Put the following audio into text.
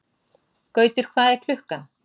Gautur, hvað er klukkan?